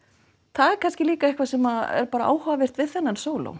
það er kannski líka eitthvað sem er bara áhugavert við þennan sóló